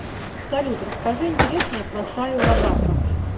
салют расскажи интересное про шайю лабафа